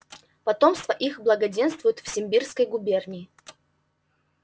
потомство их благоденствует в симбирской губернии